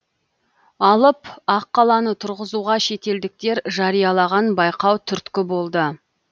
алып аққаланы тұрзызуға шетелдіктер жариялаған байқау түрткі болды